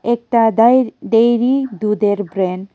একটা ডাইর ডেয়ারি দুধের ব্র্যান্ড ।